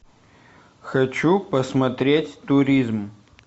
хочу посмотреть туризм